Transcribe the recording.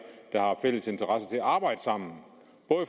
der har fælles interesser til at arbejde sammen